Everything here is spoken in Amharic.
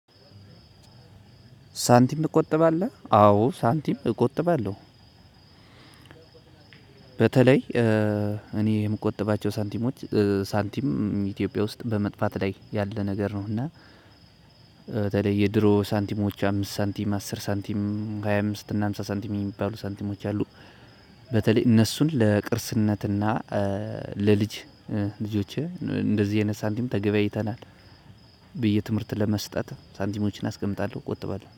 ሳንቲም ትቆጥባለሁ አዎ ሳንቲም እቆጥባለሁ በተለይ እኔ የምቆጥባቸው ሳንቲሞች ሳንቲም ኢትዮጵያ ውስጥ በመጥፋት ላይ ያለ ነገር ነው። እና በተለይ የድሮ ሳንቲሞች አምስት ሳንቲም አስር ሳንቲም ሃያ አምስት እና ሃምሳ ሃምሳ ሳንቲም የሚባሉ ሳንቲሞች የሚባሉ አሉ። በተለይ እነሱን ለቅርስነት እና ለልጅ ልጆቼ እንደዚህ አይነት ሳንቲም ተገበያይተናል። ብዬ ትምህርትን ለመስጠት ሳንቲሞችን አስቀምጣለሁ እቆጥባለሁ